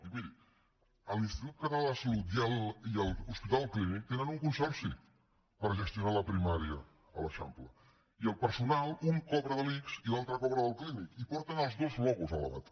i miri l’institut català de la salut i l’hospital clínic tenen un consorci per gestionar la primària a l’eixample i el personal un cobra de l’ics i l’altre cobra del clínic i porten els dos logos a la bata